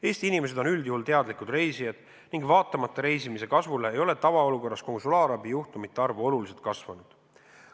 Eesti inimesed on üldjuhul teadlikud reisijad ning vaatamata reisimise kasvule ei ole tavaolukorras konsulaarabi juhtumite arv oluliselt kasvanud.